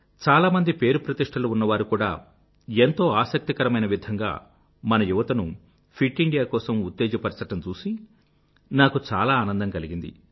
చాలామంది పేరుప్రతిష్ఠలు ఉన్నవారు కూడా ఎంతో ఆసక్తికరమైన విధంగా మన యువతను ఫిట్ ఇండియా కోసం ఉత్తేజపరచడం చూసి నాకు చాలా ఆనందం కలిగింది